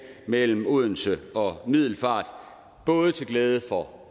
mellem odense og middelfart både til glæde for